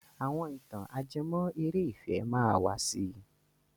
Àwọn ìtàn ajẹmọ́ eré ìfẹ́ máa wà si.